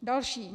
Další.